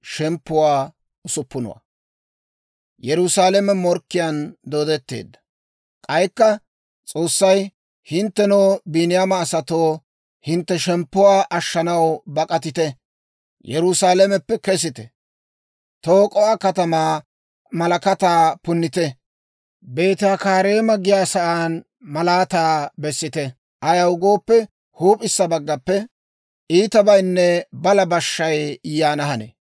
K'aykka S'oossay, «Hinttenoo, Biiniyaama asatoo, hintte shemppuwaa ashshanaw bak'atite! Yerusaalameppe kesite! Tak'o"a kataman malakataa punnite! Beeti-Hakkareema giyaa san malaataa bessite! Ayaw gooppe, huup'issa baggappe iitabaynne balaa bashshay yaana hanee.